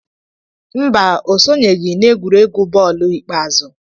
Mba, o sonyeghị n'egwuregwu bọọlụ ikpeazụ.